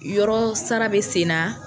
Yɔrɔ sara bɛ sen na